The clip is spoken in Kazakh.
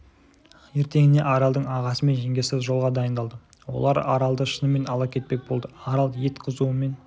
ертеңіне аралдың ағасы мен жеңгесі жолға дайындалды олар аралды шынымен ала кетпек болды арал ет қызуымен